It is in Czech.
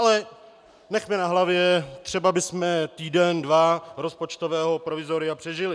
Ale nechme na hlavě, třeba bychom týden dva rozpočtového provizoria přežili.